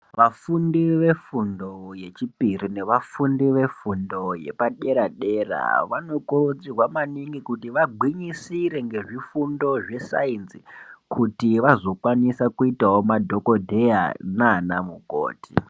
Vafundi vefundo yechipiri nevafundi vefundo yepadera dera vanokurudzirwa maningi kuti vagwinyisire ngezvifundo zvesainzi kuti vazokwanisa kuitawo madhokodheya nana mukoti.